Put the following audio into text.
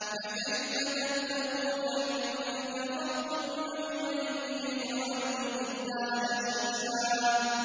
فَكَيْفَ تَتَّقُونَ إِن كَفَرْتُمْ يَوْمًا يَجْعَلُ الْوِلْدَانَ شِيبًا